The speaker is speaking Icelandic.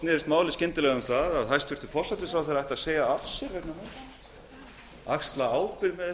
snerist málið skyndilega um það að hæstvirtur forsætisráðherra ætti að segja af sér vegna málsins axla ábyrgð